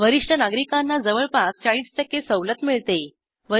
वरिष्ठ नागरिकांना जवळपास ४0 सवलत मिळते